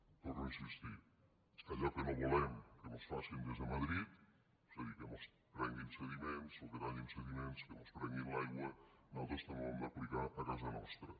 hi torno a insistir allò que no volem que mos facin des de madrid és a dir que mos prenguin sediments o que tallin sediments que mos prenguin l’aigua nosaltres també ho hem d’aplicar a casa nostra